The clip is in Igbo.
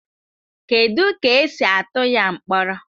Kedu ka esi atụ ya mkpọrọ